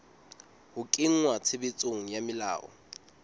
ho kenngwa tshebetsong ha melao